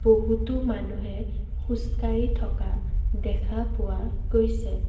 বহুতো মানুহে খোজ কাঢ়ি থকা দেখা পোৱা গৈছে।